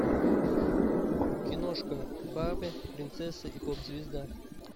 киношка барби принцесса и поп звезда